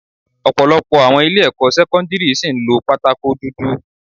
Ọ̀pọ̀lọpọ̀ àwọn ilé ẹ̀kọ́ sẹ́kọ́ńdírì ṣìí ń lo pátákó dúdú.